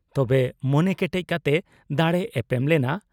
ᱛᱚᱵᱮ ᱢᱚᱱᱮ ᱠᱮᱴᱮᱡ ᱠᱟᱛᱮ ᱫᱟᱲᱮ ᱮᱯᱮᱢ ᱞᱮᱱᱟ ᱾